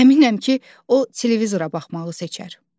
Əminəm ki, o televizora baxmağı seçər.